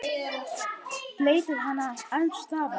Bleytir hana alls staðar.